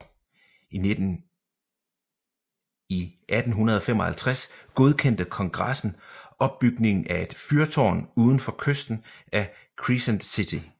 I 1855 godkendte Kongressen opbygningen af et fyrtårn udfor kysten af Crescent City